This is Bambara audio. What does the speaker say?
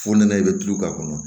F'u nana i bɛ tulu k'a kɔnɔ